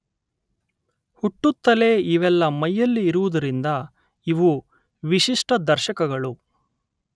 ಹುಟ್ಟುತ್ತಲೇ ಇವೆಲ್ಲ ಮೈಯಲ್ಲಿ ಇರುವುದರಿಂದ ಇವು ವಿಶಿಷ್ಟ ದರ್ಶಕಗಳು